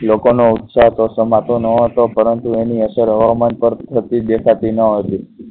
લોકો નો ઉત્સાહ તો સમા તો નહોતો, પરંતુ એની અસર હવામાન પર થતી દેખાતી ન હતી.